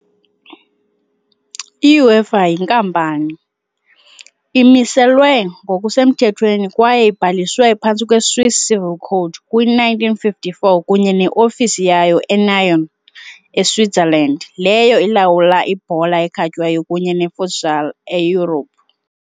iUEFA, yinkampani, imiselwe ngokusemthethweni kwaye ibhaliswe phantsi kwe-Swiss Civil Code kwi-1954, kunye ne-ofisi yayo eNyon, eSwitzerland, leyo ilawula ibhola ekhatywayo kunye ne-futsal eYurophu .